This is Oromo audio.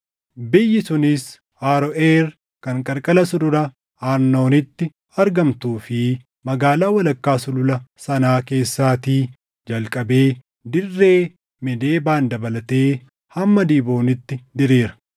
Biyyi sunis Aroʼeer kan qarqara Sulula Arnooniitti, argamtuu fi magaalaa walakkaa sulula sanaa keessaatii jalqabee dirree Meedebaan dabalatee hamma Diibooniitti diriira;